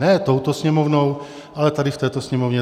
Ne touto Sněmovnou, ale tady v této Sněmovně.